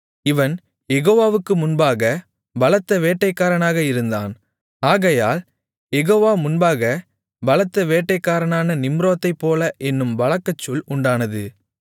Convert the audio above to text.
இவன் யெகோவாவுக்கு முன்பாகப் பலத்த வேட்டைக்காரனாக இருந்தான் ஆகையால் யெகோவா முன்பாகப் பலத்த வேட்டைக்காரனான நிம்ரோதைப்போல என்னும் வழக்கச்சொல் உண்டானது